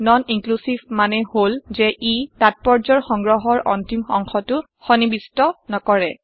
non inclusive মানে হল যে ই তাত্পৰ্যৰ সংগ্ৰহৰ অন্তিম অংশটো সন্নিবিষ্ট নকৰে